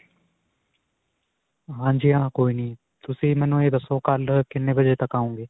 ਹਾਂਜੀ ਹਾਂ. ਕੋਈ ਨਹੀਂ ਤੁਸੀਂ ਮੇਨੂੰ ਇਹ ਦੱਸੋ ਕਲ੍ਹ ਕਿੰਨੇ ਵਜੇ ਤੱਕ ਆਓਗੇ?